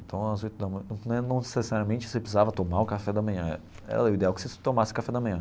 Então às oito da ma né não necessariamente você precisava tomar o café da manhã, era o ideal que você tomasse o café da manhã.